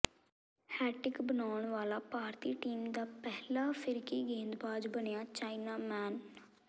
hat-trick ਬਣਾਉਣ ਵਾਲਾ ਭਾਰਤੀ ਟੀਮ ਦਾ ਪਹਿਲਾ ਫਿਰਕੀ ਗੇਂਦਬਾਜ਼ ਬਣਿਆ ਚਾਈਨਾ ਮੈਨ